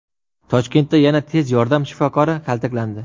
Toshkentda yana tez yordam shifokori kaltaklandi.